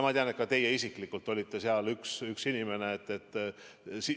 Ma tean, et ka teie isiklikult olite seal üks nendest inimestest.